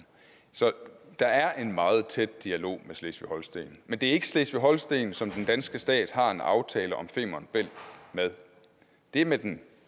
så der er en meget tæt dialog med slesvig holsten men det er ikke slesvig holsten som den danske stat har en aftale om femern bælt med det er med den